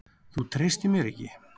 Þú treystir mér ekki!